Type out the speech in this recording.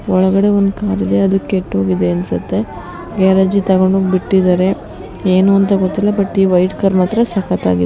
ಒಳಗಡೆ ಒಂದು ಕಾರಿದೆ ಅದು ಕೆಟ್ಟು ಹೋಗಿದೆ ಅನ್ಸುತ್ತೆ ಗ್ಯಾರೇಜಿಗೆ ತಗೊಂಡು ಹೋಗಿ ಬಿಟ್ಟಿದ್ದಾರೆ ಏನು ಅಂತ ಗೊತ್ತಿಲ್ಲ ಬಟ್ ಈ ವೈಟ್ ಕಾರ್ ಮಾತ್ರ ಸಕತ್ತಾಗಿ--